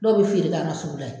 Dɔw bɛ feere k'an ka sugu la ye.